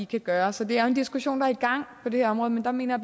kan gøre så det er en diskussion der er i gang på det her område men der mener